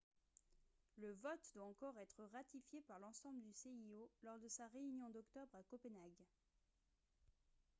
le vote doit encore être ratifié par l'ensemble du cio lors de sa réunion d'octobre à copenhague